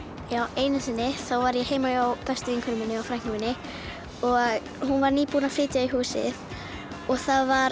einu sinni var ég heima hjá bestu vinkonu minni og frænku minni hún var nýbúin að flytja í húsið og það var